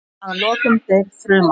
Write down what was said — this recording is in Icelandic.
Að lokum deyr fruman.